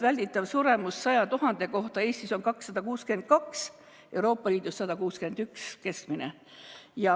Välditav suremus 100 000 inimese kohta Eestis on 262, Euroopa Liidus on keskmine 161.